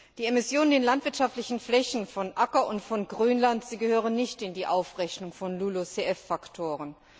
Die Emissionen landwirtschaftlicher Flächen, von Acker und von Grünland, gehören nicht in die Aufrechnung von LULUCF Faktoren.